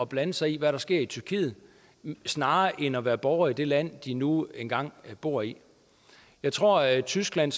blande sig i hvad der sker i tyrkiet snarere end at være borgere i det land de nu engang bor i jeg tror at tyskland